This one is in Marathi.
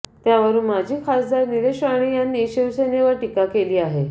त्यावरून माजी खासदार नीलेश राणे यांनी शिवसेनेवर टीका केली आहे